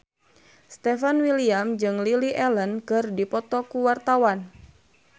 Stefan William jeung Lily Allen keur dipoto ku wartawan